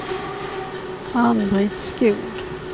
Ann-Britt Skog